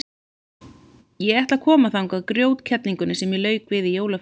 Ég ætla að koma þangað grjótkerlingunni sem ég lauk við í jólafríinu.